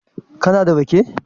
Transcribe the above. kana da rake?